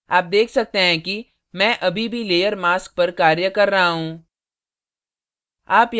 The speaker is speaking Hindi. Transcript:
आप check सकते हैं कि मैं अभी भी layer mask पर कार्य कर रहा you